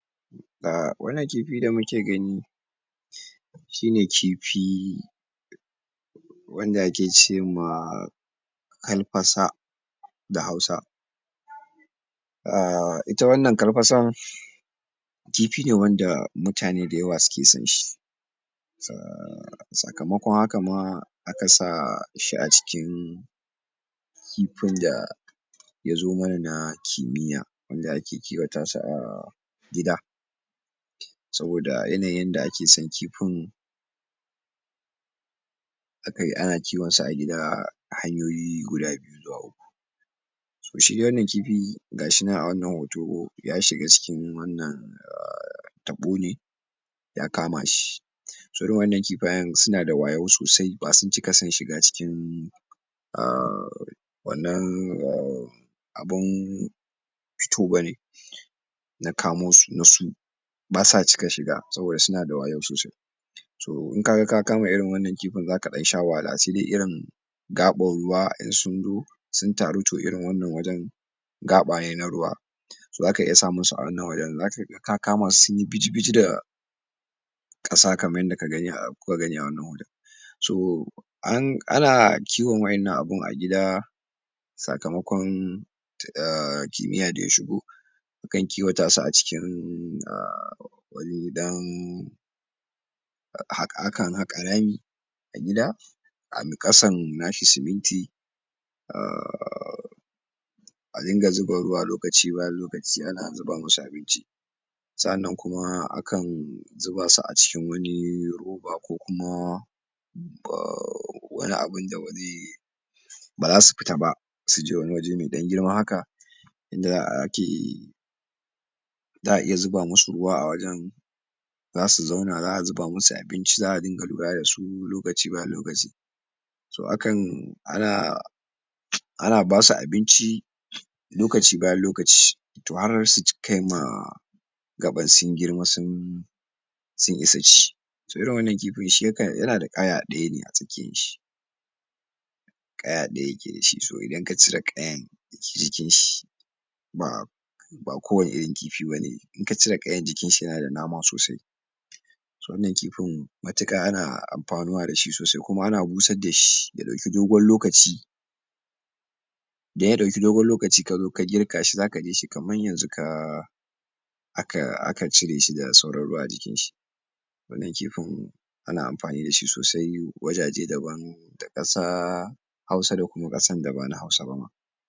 Wannan kifin da muke gani shine kifi wanda ake cema karfasa da hausa a ita wannan karfasa kifi ne wanda mutane dayawa suke son shi, sakamakon haka ma aka sa shi acikin kifin da yazo mana na kimiyya wanda ake kiwatasu a gida saboda yanayinda ake san kifin akayi ana kiwonsaa a gida hanyoyi guda biyu zuwa uku. Shi wannan kifi gashi nan a wannan hoto yashiga cikin wannan taɓo ne ya kamashi irin wannan kifayen suna da wayo sosai basun cika son shiga er wannan er abun fito bane na kamosu na su basa cika shiga sabida sunada wayo sosai. To inkaga ka kama irin wannan kifin zaka dan sha wahala sede irin gaɓan ruwa in sun zo suntaru to irin wannan wajan gaɓa ne na ruwa to zaka iya samun su awannan wajan zakaga ka kamasu sunyi biji-biji da ƙasa kamar yanda ka gani yanda kuka gani a wannan hoton. Ana kiwon waƴannan abu agida sakamakon err kimiyya daya shigo a kan kiwata su acikin wani dan akan haƙa rami agida kasan nashi siminti [errrr] adinga zuba ruwa lokaci bayan lokaci ana zuba musu abinci sa'anan kuma akan zubasu aciki wani roba kokuma wani abun da be ze bazasu fita ba suje wani waje mai ɗan girma haka da ake za'a iya zuba musu ruwa awajan zasu zauna za'a zuba musu abinci za'a dinga lura dasu lokaci bayan lokaci so hakan ana ana basu abinci lokaci bayan lokaci to har sukaima gaɓa sun girma sun sun isa ci. Irin wannan kifi shi yakan yanada ƙaya ajikinshi ƙaya ɗaya yakedashi so idan kacire ƙayan kijikinshi ɓa ɓa kowani irin kifi bane inka cire ƙayan jikinshi yanada nama sosai wannan kifin matuka ana anfanuwa dashi sosai kuma ana bushar dashi ya ɗauki dogon lokaci daya ɗauki dogon lokaci kazo ka girka shi zaka ganshi kamar yanzu ka aka aka cireshi da sauran ruwa ajikinshi wannan kifin ana amfani dashi sosai wajaje daban dakasa hausa da kuma kasar da bana hausaba ma.